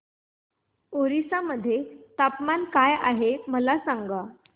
ओरिसा मध्ये तापमान काय आहे मला सांगा